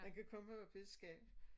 Den kan komme op i skab